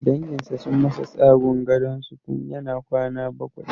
Danginsa sun masa tsagun gadonsu tun yana kwana bakwai.